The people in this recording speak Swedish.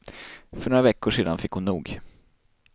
För några veckor sedan fick hon nog.